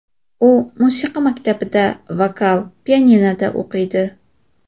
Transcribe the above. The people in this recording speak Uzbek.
U musiqa maktabida, vokal va pianinoda o‘qiydi.